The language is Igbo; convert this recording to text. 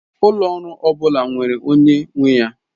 Ụlọ ọrụ ọ bụla nwere onye nwe ya.